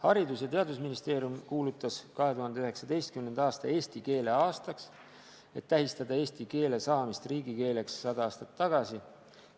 Haridus- ja Teadusministeerium kuulutas 2019. aasta eesti keele aastaks, et tähistada eesti keele saamist riigikeeleks 100 aastat tagasi.